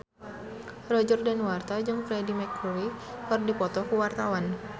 Roger Danuarta jeung Freedie Mercury keur dipoto ku wartawan